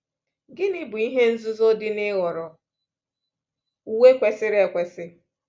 Gịnị bụ ihe nzuzo dị n’ịhọrọ uwe kwesiri ekwesị?